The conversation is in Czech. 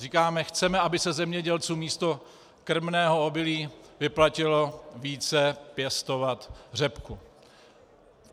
Říkáme: Chceme, aby se zemědělcům místo krmného obilí vyplatilo více pěstovat řepku.